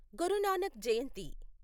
గురు Nanak జయంతి